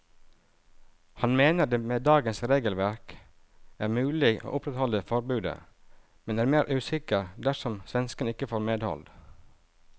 Han mener det med dagens regelverk er mulig å opprettholde forbudet, men er mer usikker dersom svenskene ikke får medhold.